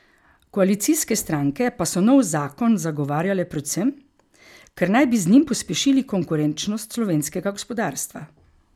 Koalicijske stranke pa so nov zakon zagovarjale predvsem, ker naj bi z njim pospešili konkurenčnost slovenskega gospodarstva.